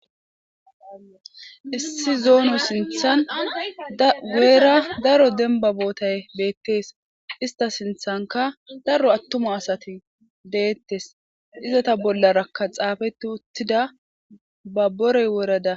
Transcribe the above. Issi zono sinthani guyera daro atuma asati detes, ista sinthanka daro atuma asati detes, izeta bollaraka xaafeti utida babore woreda ...